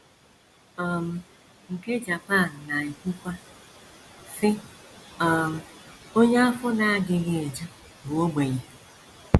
um Nke Japan na - ekwukwa, sị: um “ Onye afọ na - adịghị eju bụ ogbenye. ”